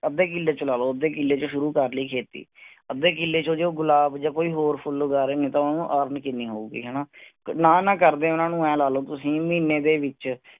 ਅੱਧੇ ਕਿਲੇ ਚ ਲਾ ਲੋ, ਅੱਧੇ ਕਿਲੇ ਚ ਸ਼ੁਰੂ ਕਰ ਲਈ ਕੇਤੀ, ਅੱਧੇ ਕਿਲੇ ਚ ਜੋ ਗੁਲਾਬ ਜਾ ਕੋਈ ਹੋਰ ਫੁੱਲ ਉਗਾ ਰਹੇ ਨੇ ਤਾਂ ਉਹਨੂੰ ਆਪ ਨੂੰ ਕਿੰਨੀ ਹੋਉਗੀ ਹਣਾ ਨਾ ਨਾ ਕਰਦੇ ਓਹਨਾ ਨੂੰ ਏ ਲਾ ਲੋ ਤੁਸੀਂ ਮਹੀਨੇ ਦੇ ਵਿਚ